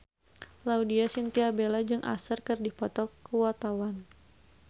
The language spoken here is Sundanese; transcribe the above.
Laudya Chintya Bella jeung Usher keur dipoto ku wartawan